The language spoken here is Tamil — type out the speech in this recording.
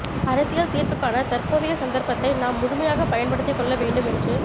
அரசியல் தீர்வுக்கான தற்போதைய சந்தர்ப்பத்தை நாம் முழுமையாகப் பயன்படுத்திக் கொள்ள வேண்டும் என்று